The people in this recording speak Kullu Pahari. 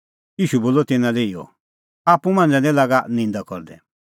ईशू बोलअ तिन्नां लै इहअ आप्पू मांझ़ै निं लागा निंदा करदै